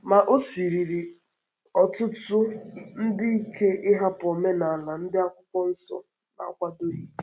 Ma, ọ̀ sịrịrí ọ̀tụ̀tụ̀ ndị ike ịhapụ omenala ndị Akwụkwọ Nsọ na-akwàdọghị.